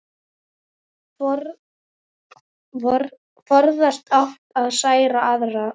Forðast átti að særa aðra.